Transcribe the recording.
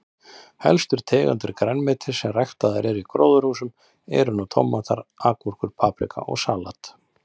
Helstu tegundir grænmetis sem ræktaðar eru í gróðurhúsum eru nú tómatar, agúrkur, paprika og salat.